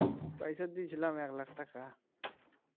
পয়সা দিয়েছিলাম এক লাখ টাকা